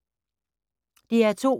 DR2